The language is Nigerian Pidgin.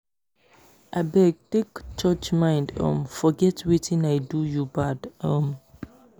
abeg take church mind um forget wetin i do you bad um